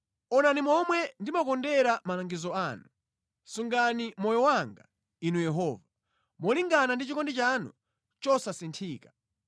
Onani momwe ndimakondera malangizo anu; sungani moyo wanga, Inu Yehova, molingana ndi chikondi chanu chosanthika.